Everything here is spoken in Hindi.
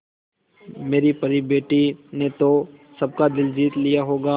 मेरी परी बेटी ने तो सबका दिल जीत लिया होगा